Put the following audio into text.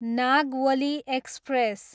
Nagavali express